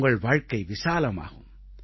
உங்கள் வாழ்க்கை விசாலமாகும்